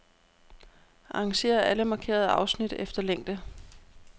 Arrangér alle markerede afsnit efter længde.